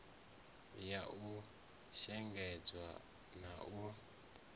ya u shengedzwa na u